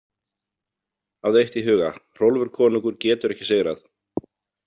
Hafðu eitt í huga: Hrólfur konungur getur ekki sigrað.